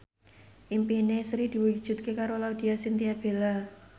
impine Sri diwujudke karo Laudya Chintya Bella